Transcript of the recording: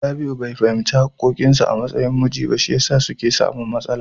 Rabi'u bai fahimci haƙƙoƙin sa a matsayin miji ba, shi yasa suke samun matsala.